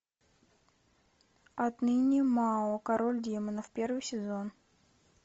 отныне мао король демонов первый сезон